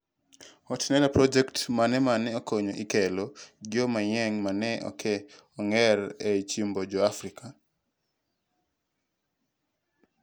HORTINLEA project mane mane okonyo e kelo gio manyien mane ok ong'ere ei chiemb jo afrika